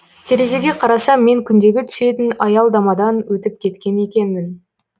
терезеге қарасам мен күндегі түсетін аялдамадан өтіп кеткен екенмін